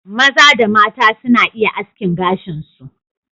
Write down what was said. Maza da mata suna iya askin gashin su.